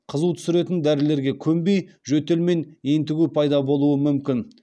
қызу түсіретін дәрілерге көнбей жөтел мен ентігу пайда болуы мүмкін